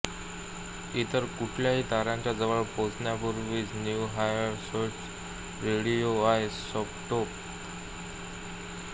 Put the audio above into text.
इतर कुठल्याही ताऱ्याच्या जवळ पोहोचण्यापूर्वीच न्यू होरायझन्सचे रेडिओआयसोटोप थर्मोइलेक्ट्रिक जनरेटर इंधन संपेल